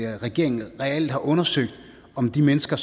regeringen reelt har undersøgt om de mennesker